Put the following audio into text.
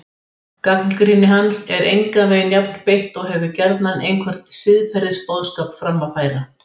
Gagnrýni hans er engan veginn jafn beitt og hefur gjarnan einhvern siðferðisboðskap fram að færa.